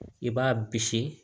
I b'a bisi